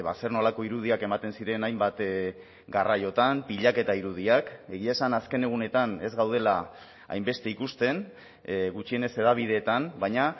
zer nolako irudiak ematen ziren hainbat garraiotan pilaketa irudiak egia esan azken egunetan ez gaudela hainbeste ikusten gutxienez hedabideetan baina